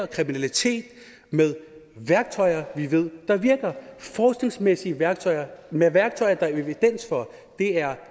kriminalitet med værktøjer vi ved der virker forskningsmæssige værktøjer med værktøjer der er evidens for det er